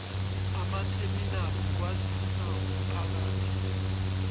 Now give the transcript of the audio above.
amatheminali wokwazisa womphakathi